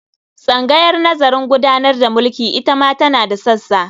Tsangayar nazarin gudanar da mulki ita ma tana da sassa.